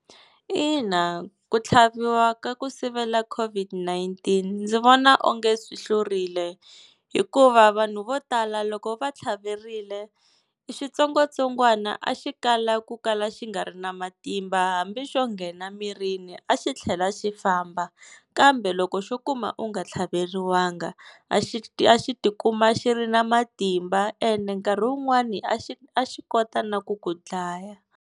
Ina ku tlhaviwa ka ku sivela COVID-19 ndzi vona onge swi hlurile, hikuva vanhu vo tala loko va tlhaverile xitsongwatsongwana a xi kala ku kala xi nga ri na matimba, hambi xo nghena mirini a xi tlhela xi famba. Kambe loko xo kuma u nga tlhaveriwanga a xi a xi tikuma xi ri na matimba, ene nkarhi wun'wani a xi a xi kota na ku ku dlaya.